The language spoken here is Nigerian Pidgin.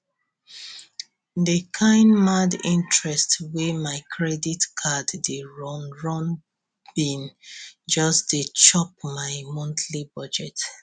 di kain mad interest wey my credit card dey run run bin just dey chop my monthly budget